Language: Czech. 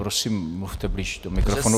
Prosím, mluvte blíže do mikrofonu.